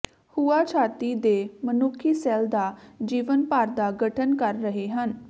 ਹੁਆ ਛਾਤੀ ਦੇ ਮਨੁੱਖੀ ਸੈੱਲ ਦਾ ਜੀਵਨ ਭਰ ਦਾ ਗਠਨ ਕਰ ਰਹੇ ਹਨ